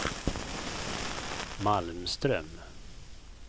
Malmström